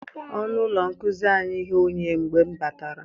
Ọnụ ụlọ nkuzi anyị ghe oghe mgbe m batara.